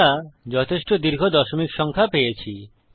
আমরা যথেষ্ট দীর্ঘ দশমিক সংখ্যা পেয়েছি